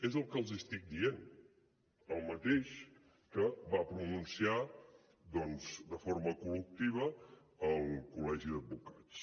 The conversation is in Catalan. és el que els estic dient el mateix que va pronunciar doncs de forma col·lectiva el col·legi d’advocats